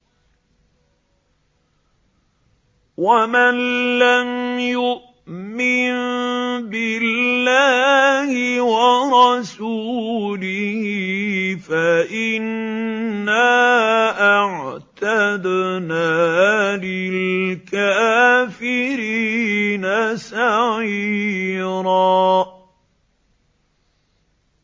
وَمَن لَّمْ يُؤْمِن بِاللَّهِ وَرَسُولِهِ فَإِنَّا أَعْتَدْنَا لِلْكَافِرِينَ سَعِيرًا